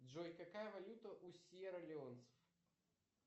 джой какая валюта у сьерра леонцев